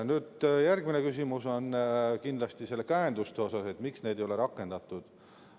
Nüüd tuleb järgmine küsimus kindlasti käenduste kohta, et miks neid ei ole rakendatud.